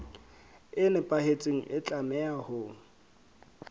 e nepahetseng e tlameha ho